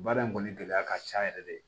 Baara in kɔni gɛlɛya ka ca yɛrɛ de